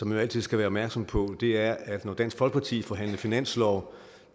man altid skal være opmærksom på det er at når dansk folkeparti forhandler finanslov